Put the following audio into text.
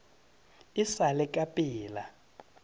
e sa le ka pela